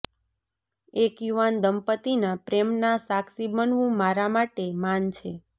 એક યુવાન દંપતિના પ્રેમના સાક્ષી બનવું મારા માટે માન છે